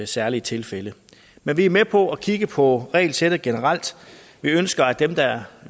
særlige tilfælde men vi er med på at kigge på regelsættet generelt vi ønsker at dem der